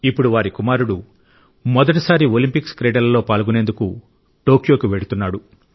ఇప్పుడు వారి కుమారుడు మొదటిసారి ఒలింపిక్స్ క్రీడలలో పాల్గొనేందుకు టోక్యోకు వెళ్తున్నాడు